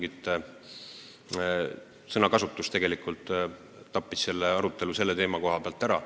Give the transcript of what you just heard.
See sõnakasutus tegelikult tappis selle arutelu selle teema koha pealt ära.